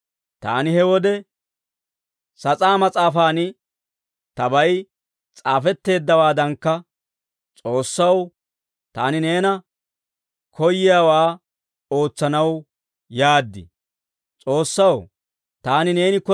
Taani he wode, ‹S'aatsa mas'aafan tabay s'aafetteeddawaadankka, S'oossaw, taani neeni koyiyaawaa ootsanaw yaad› yaagaad» yaageedda.